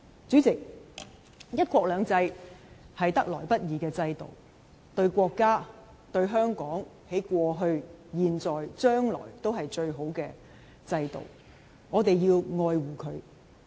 主席，"一國兩制"是得來不易的制度，對國家、對香港在過去、現在、將來均是最好的制度，我們要愛護這制度。